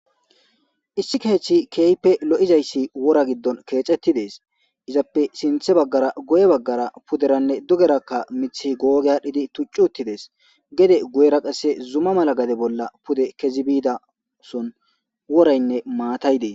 Issi keeththi keeype lo7izayssi wora giddon keecettidees izappe sinthe baggara guye baggara puderanne dugeraka mithi googe aadhdhidi tuccuttidees gede guyera qasse zuma mala gade bolla pude kezi biida son woraynne maatay dees.